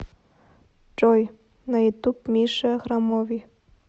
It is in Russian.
джой на ютуб миша храмови